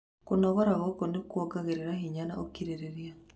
Kũnogora gũkũ nĩ kuongereraga hinya na ũkirĩrĩria.